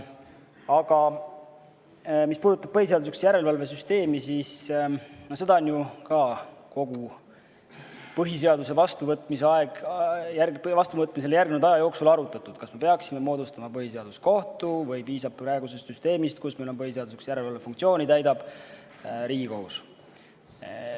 Aga mis puudutab põhiseaduslikkuse järelevalve süsteemi, siis seda on ju kogu põhiseaduse vastuvõtmisele järgnenud aja jooksul arutatud: kas me peaksime moodustama põhiseaduskohtu või piisab praegusest süsteemist, kus meil põhiseaduslikkuse järelevalve funktsiooni täidab Riigikohus?